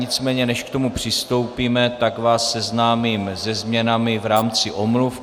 Nicméně než k tomu přistoupíme, tak vás seznámím se změnami v rámci omluv.